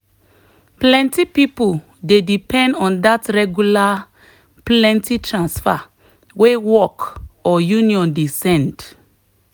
plenty people dey depend on that regular plenty transfer wey work or union dey send.